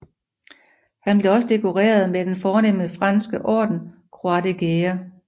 Han blev også dekoreret med den fornemme franske orden Croix de Guerre